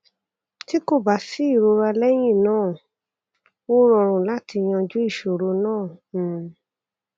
ti ko ba si irora lẹyyin naa o rọrun lati yanju iṣoro naa um